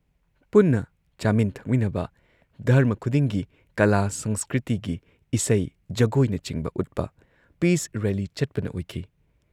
ꯄꯨꯟꯅ ꯆꯥꯃꯤꯟ ꯊꯛꯃꯤꯟꯅꯕ, ꯙꯔꯃ ꯈꯨꯗꯤꯡꯒꯤ ꯀꯂꯥ ꯁꯪꯁꯀ꯭ꯔꯤꯇꯤꯒꯤ ꯏꯁꯩ ꯖꯒꯣꯏꯅꯆꯤꯡꯕ ꯎꯠꯄ, ꯄꯤꯁ ꯔꯦꯜꯂꯤ ꯆꯠꯄꯅ ꯑꯣꯏꯈꯤ ꯫